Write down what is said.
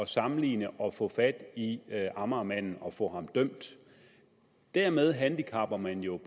sammenligning og få fat i amagermanden og få ham dømt dermed handicapper man jo